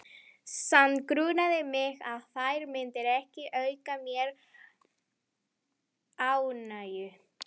Samt grunaði mig að þær myndu ekki auka mér ánægju.